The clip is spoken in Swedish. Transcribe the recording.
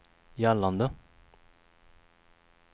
gällande